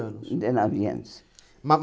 Com dezenove anos.